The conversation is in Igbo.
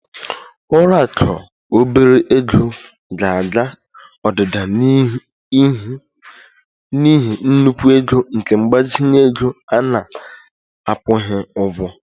Ụlọ akụ obere ego ga-aga odida n'ihi nnukwu ego nke mgbazinye ego a na-akwụghị ụgwọ